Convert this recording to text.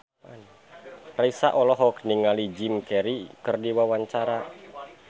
Raisa olohok ningali Jim Carey keur diwawancara